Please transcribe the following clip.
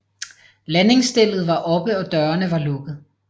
Landingsstellet var oppe og dørene var lukket